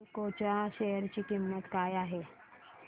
एल्डेको च्या शेअर ची किंमत काय आहे